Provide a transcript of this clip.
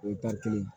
O ye kelen ye